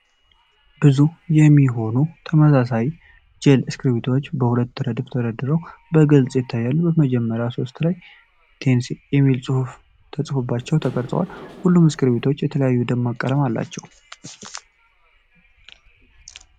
ዘጠኝ የሚሆኑ ተመሳሳይ ጄል እስክሪብቶዎች በሁለት ረድፍ ተደርድረው በግልጽ ይታያሉ። በመጀመሪያዎቹ ሦስቱ ላይ "ቴንሴ" የሚል ጽሑፍ በግልጽ ተቀርጿል፤ ሁሉም እስክሪብቶዎች የተለያዩ ደማቅ ቀለሞች አሏቸው።